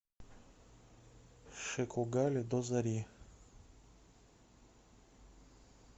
шекогали до зари